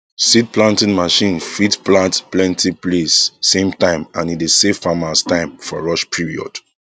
seed planting machine fit plant plenty place same time and e dey save farmers time for rush period